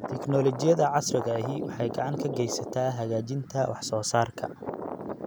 Tiknoolajiyada casriga ahi waxay gacan ka geysataa hagaajinta wax soo saarka.